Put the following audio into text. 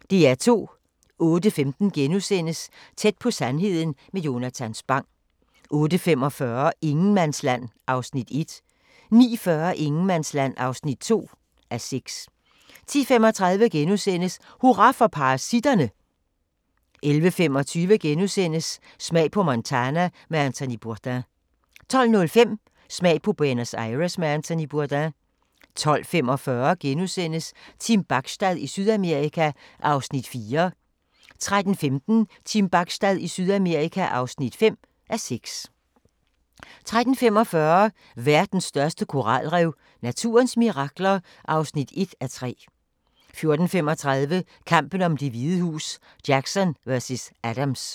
08:15: Tæt på sandheden med Jonatan Spang * 08:45: Ingenmandsland (1:6) 09:40: Ingenmandsland (2:6) 10:35: Hurra for parasitterne! * 11:25: Smag på Montana med Anthony Bourdain * 12:05: Smag på Buenos Aires med Anthony Bourdain 12:45: Team Bachstad i Sydamerika (4:6)* 13:15: Team Bachstad i Sydamerika (5:6) 13:45: Verdens største koralrev – naturens mirakler (1:3) 14:35: Kampen om Det Hvide Hus: Jackson vs. Adams